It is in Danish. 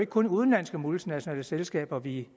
kun udenlandske multinationale selskaber vi